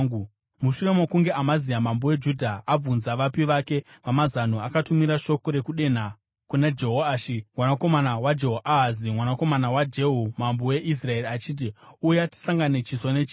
Mushure mokunge Amazia mambo weJudha abvunza vapi vake vamazano akatumira shoko rokudenha kuna Jehoashi, mwanakomana waJehoahazi, mwanakomana waJehu, mambo weIsraeri achiti, “Uya tisangane chiso nechiso.”